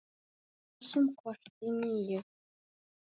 Ræsum kort í níu.